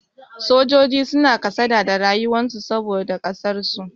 Sojoji suna kasada da rayuwar su saboda ƙasar su.